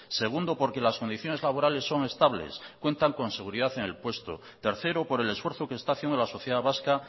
segundo porque las condiciones laborales son estables cuentan con seguridad en el puesto tercero por el esfuerzo que está haciendo la sociedad vasca